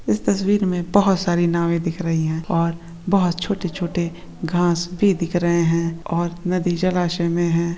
इस तस्वीर मे बहोत सारे नावे दिख रही है और बहुत छोटे-छोटे घास भी दिख रही है और नदी जलाशय में है।